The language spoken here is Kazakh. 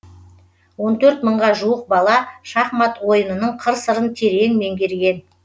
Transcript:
он төрт мыңға жуық бала шахмат ойынының қыр сырын терең меңгерген